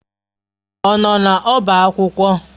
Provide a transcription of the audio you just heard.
Ọ nọ n'ọba akwụkwọ?